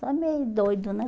Só meio doido, né?